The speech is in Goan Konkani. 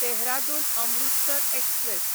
देहरादून अमृतसर एक्सप्रॅस